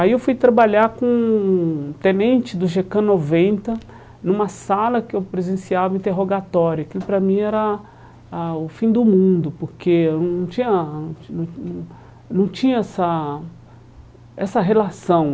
Aí eu fui trabalhar com um tenente do gê cá noventa numa sala que eu presenciava interrogatório, aquilo pra mim era ah o fim do mundo, porque hum eu não tinha não não não tinha essa essa relação.